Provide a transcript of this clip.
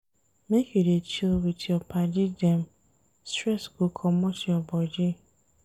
Make you dey chill wit your paddy dem, stress go comot your bodi.